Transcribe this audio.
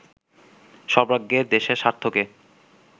সর্বাগ্রে দেশের স্বার্থকে